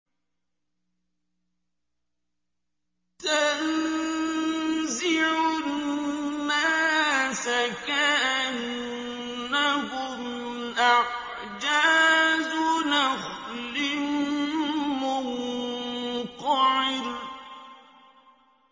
تَنزِعُ النَّاسَ كَأَنَّهُمْ أَعْجَازُ نَخْلٍ مُّنقَعِرٍ